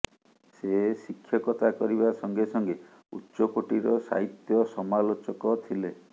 ସେ ଶିକ୍ଷକତା କରିବା ସଙ୍ଗେ ସଙ୍ଗେ ଉଚ୍ଚକୋଟିର ସାହିତ୍ୟ ସମାଲୋଚକ ଥିଲେ